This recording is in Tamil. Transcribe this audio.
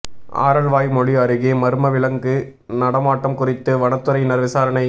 ஆரல்வாய்மொழி அருகே மா்ம விலங்கு நடமாட்டம் குறித்து வனத்துறையினா் விசாரணை